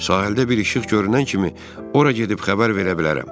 Sahildə bir işıq görünən kimi ora gedib xəbər verə bilərəm.